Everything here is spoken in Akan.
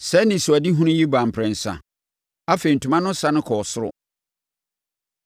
Saa anisoadehunu yi baa mprɛnsa. Afei, ntoma no sane kɔɔ soro.